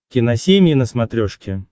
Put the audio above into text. киносемья на смотрешке